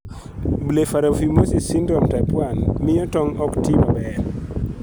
Blepharophimosis syndrome type 1 bende miyo tong' ok ti maber (POF).